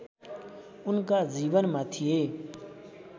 उनका जीवनमा थिए